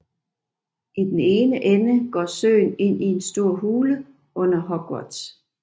I den ene ende går søen ind i en stor hule under Hogwarts